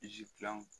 gilan